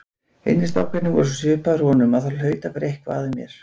Hinir strákarnir voru svo svipaðir honum að það hlaut að vera eitthvað að mér!